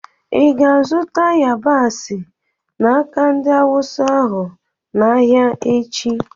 Ị ga-azụta yabasị n'aka ndị Awụsa ahụ n'ahịa echi?